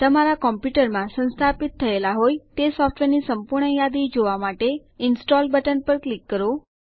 તમારા કમ્પ્યુટર માં સંસ્થાપિત થયેલા હોય તે સોફ્ટવેરની સંપૂર્ણ યાદી જોવા માટે ઇન્સ્ટોલ્ડ બટન પર ક્લિક કરો